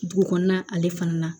Dugu kɔnɔna ale fana na